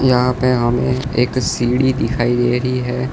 यहां पे हमें एक सीढ़ी दिखाई दे रही हैं।